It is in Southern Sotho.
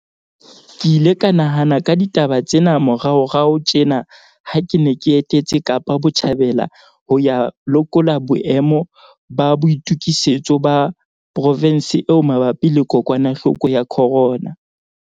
Ke ile ka nahana ka ditaba tsena moraorao tjena ha ke ne ke etetse Kapa Botjhabela ho ya lekola boemo ba boitokisetso ba provense eo mabapi le kokwanahloko ya corona.